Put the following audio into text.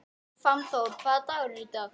Fannþór, hvaða dagur er í dag?